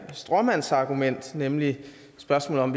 her stråmandsargument nemlig spørgsmålet om